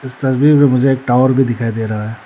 इस तस्वीर में मुझे एक टावर भी दिखाई दे रहा है।